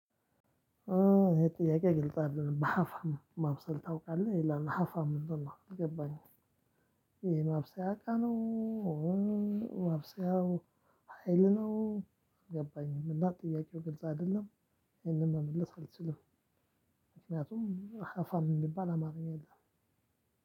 ይሄ ጥያቄ ግልጽ አይደለም በአሃፋም ማብሰል ታውቃለህ ይላል ሃፋም ምንድን ነው አልገባኝም። ይሄ የማብሰያ እቃ ነው። ማብሰያው ሀይል ነው አልገባኝም። እና ጥያቄው ግልጽ አይደለም። ይሄንን መመለስ አልችልም። ምክንያቱም ሃፋም የሚባል አማርኛ የለም።